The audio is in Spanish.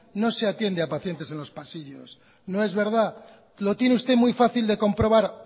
no se atiende a pacientes en los pasillos no es verdad lo tiene usted muy fácil de comprobar